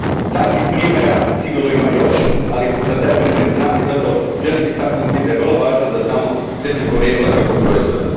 Takvih primjera sigurno ima još, ali za taj primjer znam i zato želim istaknuti da je vrlo važno da znamo zemlju porijekla svakog proizvoda.